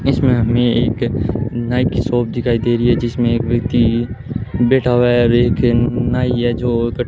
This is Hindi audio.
इसमें हमें एक नाई की शॉप दिखाई दे रही है जिसमें एक व्यक्ति बैठा हुआ है और एक नाई है जो कट --